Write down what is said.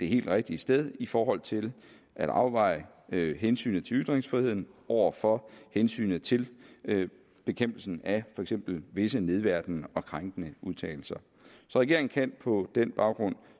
helt rigtige sted i forhold til at afveje hensynet til ytringsfriheden over for hensynet til bekæmpelsen af for eksempel visse nedværdigende og krænkende udtalelser så regeringen kan på den baggrund